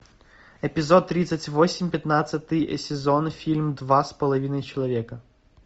эпизод тридцать восемь пятнадцатый сезон фильм два с половиной человека